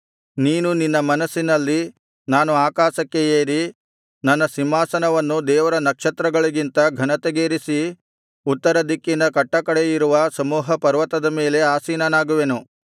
ನೀನು ನಿನ್ನ ಮನಸ್ಸಿನಲ್ಲಿ ನಾನು ಆಕಾಶಕ್ಕೆ ಏರಿ ನನ್ನ ಸಿಂಹಾಸನವನ್ನು ದೇವರ ನಕ್ಷತ್ರಗಳಿಗಿಂತ ಘನತೆಗೇರಿಸಿ ಉತ್ತರದಿಕ್ಕಿನ ಕಟ್ಟಕಡೆಯಿರುವ ಸಮೂಹ ಪರ್ವತದ ಮೇಲೆ ಆಸೀನನಾಗುವೆನು